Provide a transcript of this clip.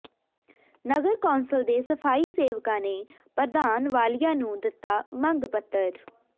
ਨਗਰ council ਦੇ ਸਫਾਈ ਸੇਵਕਾਂ ਨੇ ਪ੍ਰਧਾਨ ਵਾਲੀਆ ਨੂੰ ਦਿਤਾ ਮੰਗ ਪੱਤਰ